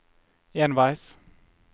enveis